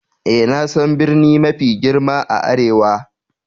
Eh, na san birni mafi girma a arewa.